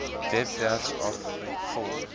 webwerf af vul